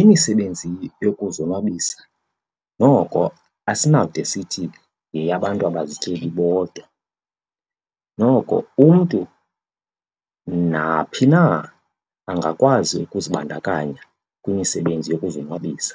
Imisebenzi yokuzonwabisa noko asinawude sithi yeyabantu abazizityebi bodwa. Noko umntu naphi na angakwazi ukuzibandakanya kwimisebenzi yokuzonwabisa.